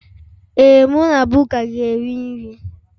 Ee, mụ na Buka ga-eri nri